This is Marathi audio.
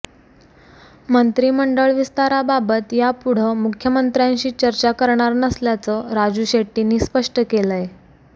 मंत्रिमंडळ विस्ताराबाबत यापुढं मुख्यमंत्र्यांशी चर्चा करणार नसल्याचं राजू शेट्टींनी स्पष्ट केलंय